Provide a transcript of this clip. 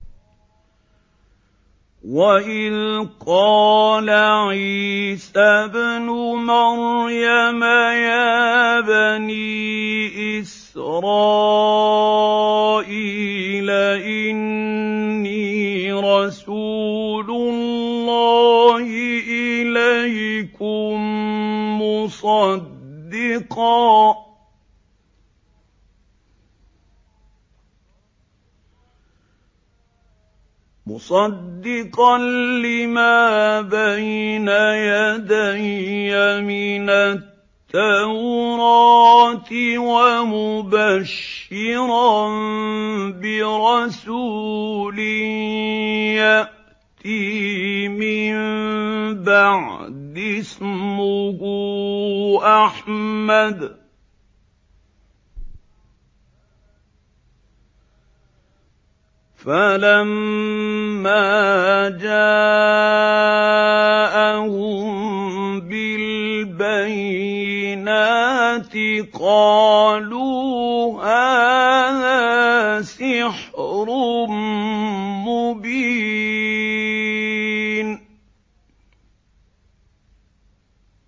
وَإِذْ قَالَ عِيسَى ابْنُ مَرْيَمَ يَا بَنِي إِسْرَائِيلَ إِنِّي رَسُولُ اللَّهِ إِلَيْكُم مُّصَدِّقًا لِّمَا بَيْنَ يَدَيَّ مِنَ التَّوْرَاةِ وَمُبَشِّرًا بِرَسُولٍ يَأْتِي مِن بَعْدِي اسْمُهُ أَحْمَدُ ۖ فَلَمَّا جَاءَهُم بِالْبَيِّنَاتِ قَالُوا هَٰذَا سِحْرٌ مُّبِينٌ